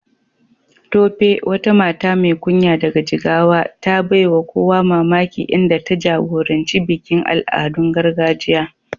Tope, wata mata mai kunya daga Jigawa, ta baiwa kowa mamaki inda ta jagoranci bikin al'adun gargajiya.